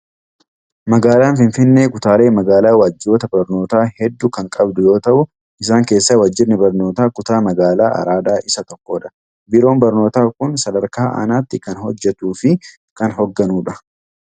Magaalaan Finfinnee kutaalee magaalaa Waajjiroota barnootaa hedduu kan qabdu yoo ta'u, isaan keessaa Waajjirri Barnoota Kutaa magaala Araadaa isa tokkodha. Biiroon barnootaa kun sadarkaa Aanaatti kan hojjetuu fi kan hoogganudha.